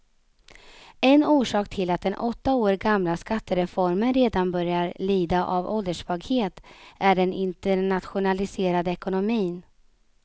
En orsak till att den åtta år gamla skattereformen redan börjar lida av ålderssvaghet är den internationaliserade ekonomin.